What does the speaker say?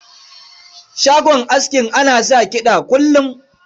Shagon askin ana sa kiɗa kullum.